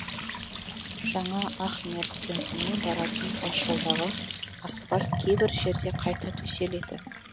жаңа ахмер кентіне баратын тасжолдағы асфальт кейбір жерде қайта төселеді